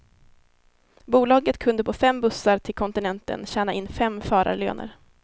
Bolaget kunde på fem bussar till kontinenten tjäna in fem förarlöner.